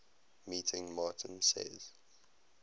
meeting martin says